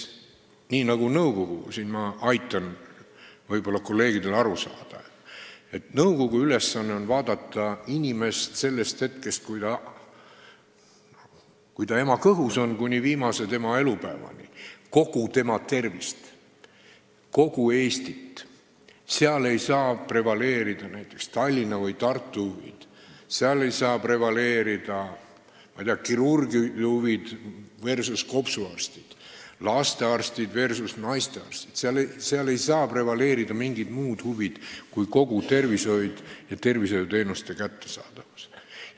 Ma aitan võib-olla kolleegidel aru saada, et nõukogu ülesanne on vaadata inimest sellest ajast, kui ta ema kõhus on, kuni tema viimase elupäevani, kogu tema tervist, ning tuleb vaadata kogu Eestit, seal ei saa prevaleerida näiteks Tallinna või Tartu huvid, seal ei saa prevaleerida, ma ei tea, kirurgide huvid kopsuarstide huvide üle, lastearstide huvid naistearstide huvide üle, seal ei saa prevaleerida mingid muud huvid kui need, mis peavad silmas kogu tervishoidu ja tervishoiuteenuste kättesaadavust.